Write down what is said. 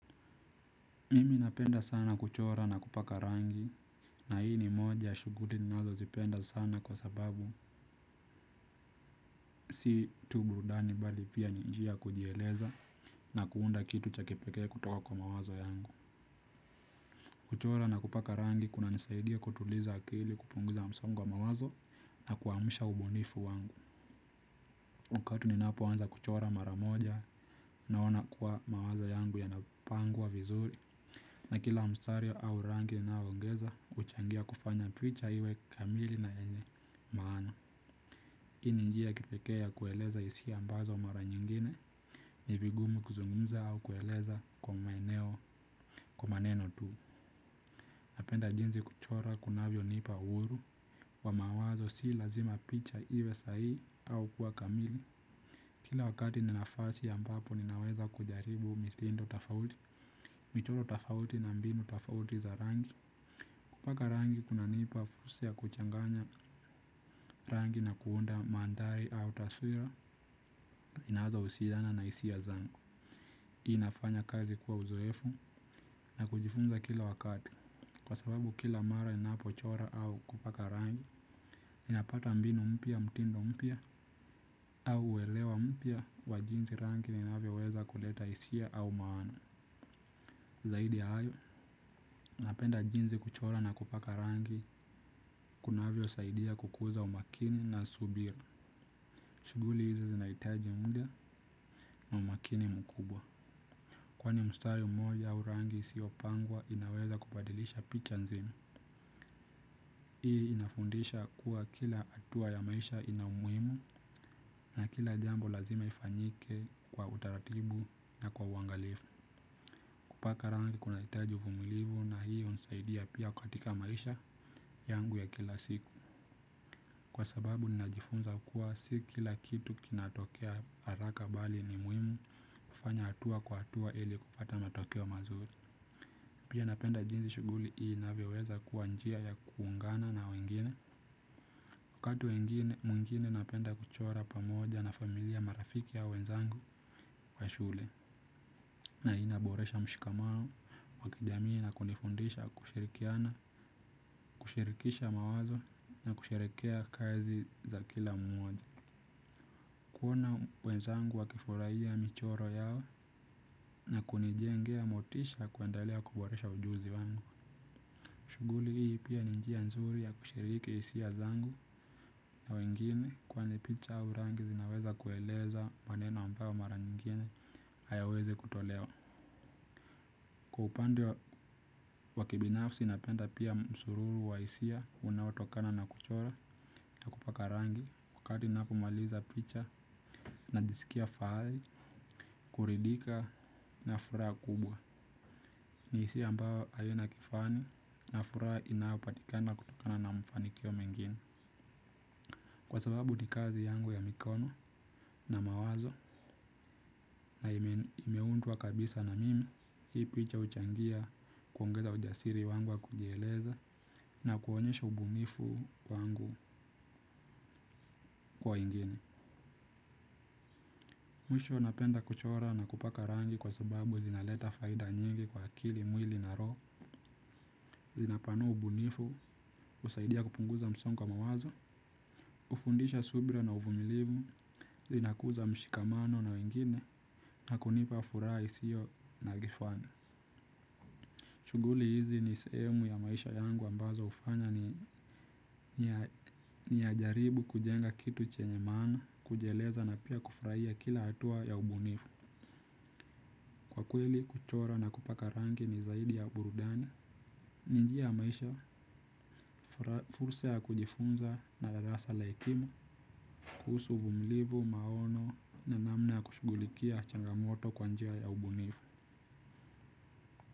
Mimi napenda sana kuchora na kupaka rangi. Na hii ni moja ya shughui nizozipenda sana kwa sababu si tu burudani bali pia ni njia ya kujieleza na kuunda kitu cha kipekee kutoka kwa mawazo yangu. Kuchora na kupaka rangi kunanisaidia kutuliza akili, kupunguza msongo wa mawazo na kuamusha ubunifu wangu. Wakati ninapoanza kuchora mara moja naona kuwa mawazo yangu yanapangwa vizuri. Na kila mstari au rangi nnaongeza, huchangia kufanya picha iwe kamili na yenye maana. Hii ni njia ya kipekee ya kueleza hisi ambazo mara nyingine nivi vigumu kuzungumza au kueleza kwa maeneo kwa maneno tu. Napenda jinsi ya kuchora kunavyo nipa uhuru kwa mawazo si lazima picha iwe sahihi au kuwa kamili, kila wakati nina nafasi ambapo naweza kujaribu mitindo tafauti. Michoro tafauti na mbinu tafauti za rangi kupaka rangi kunanipa fursa ya kuchanganya rangi na kuunda mandhari au taswira zinazohusiana na hisia ya zangu. Inafanya kazi kwa uzoefu na kujifunza kila wakati. Kwa sababu kila mara ninapochora au kupaka rangi, napata mbinu mpya, mtindo mpya au uelewa mpya kwa jinsi rangi inavyoweza kuleta hisia au maana. Zaidi hayo, napenda jinzi kuchora na kupaka rangi kunavyo saidia kukuza umakini na subira. Shughuli hizi zinaitaji mda na umakini mkubwa. Kwani mstari mmoja au rangi isio pangwa inaweza kupadilisha picha nzima. Hii inafundisha kuwa kila hatua ya maisha ina umuhimu na kila jambo lazima lifanyike kwa utaratibu na kwa uangalifu. Kupaka rangi kunahitaji uvumilivu na hii hunisaidia pia katika maisha yangu ya kila siku. Kwa sababu ninajifunza kua si kila kitu kinatokea haraka bali ni muhimu kufanya hatua kwa hatua ili kupata matokeo mazuri. Pia napenda jinzi shuguli hii inavyoweza kuwa njia ya kuungana na wengine. Wakati mwengine napenda kuchora pamoja na familia marafiki ya wenzangu wa shule. Na inaboresha mshikamano wakijamii na kujifundisha kushirikiana kushirikisha mawazo na kusherehekea kazi za kila mmoja. Kuona wenzangu wa kifurahia michoro yao na kunijengea motisha kuendaelea kuboresha ujuzi wangu. Shuguli hii pia ni njia nzuri ya kushiriki hisia zangu kwa wengine kwani picha au rangi zinaweza kueleza maneno ambayo mara nyengine hayawezi kutolewa. Upande wa wakibinafsi napenda pia msururu wa hisia unaotokana na kuchora na kupaka rangi wakati npomaliza picha najisikia fahali, kuridika na furaha kubwa. Ni hisia ambayo haina kifani na furaha inayopatikana kutokana na mafanikio mengine. Kwa sababu ni kazi yangu ya mikono na mawazo na imeundwa kabisa na mimi, hii picha huchangia kuongeza ujasiri wangu wa kujieleza na kuonyesha ubunifu wangu kwa wengine. Mwisho napenda kuchora na kupaka rangi kwa sababu zinaleta faida nyingi kwa akili mwili na roho, zinapanua ubunifu, husaidia kupunguza msongo kwa mawazo. Hufundisha subra na uvumilivu, inakuza mshikamano na wengine na kunipa furaha isiyo na kifani. Shuguli hizi ni sehemu ya maisha yangu ambazo hufanya ni ninajaribu kujenga kitu chenye mana kujieleza na pia kufraia kila hatua ya ubunifu. Kwa kweli kuchora na kupaka rangi ni zaidi ya burudani. Ni njia maisha furusa ya kujifunza na darasa laikima. Kuhusu uvumlivu, maono na namna kushugulikia changamoto kwanjia ya ubunifu.